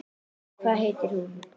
Hvað heitir hún?